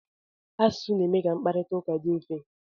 Asụsụ na-eme ka mkparita ụka dị mfe.